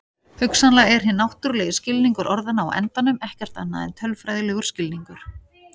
Hugsanlega er hinn náttúrulegi skilningur orðanna á endanum ekkert annað en tölfræðilegur skilningur.